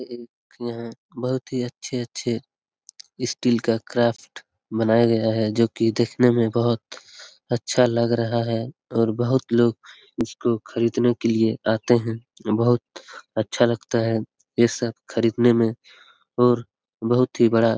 एक यहाँ बहुत ही अच्छे अच्छे स्टील का क्राफ्ट बनाया गया है जो की देखने में बहुत अच्छा लग रहा है और बहुत लोग इसको खरीदने के लिए आते हैं बहुत अच्छा लगता है ये सब खरीदने में और बहुत ही बड़ा --